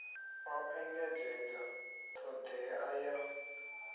o engedzedza t hodea ya